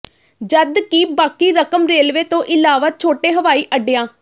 ਜਦਕਿ ਬਾਕੀ ਰਕਮ ਰੇਲਵੇ ਤੋਂ ਇਲਾਵਾ ਛੋਟੇ ਹਵਾਈ ਅੱਡਿਆ